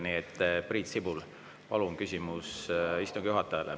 Nii et, Priit Sibul, palun küsimus istungi juhatajale.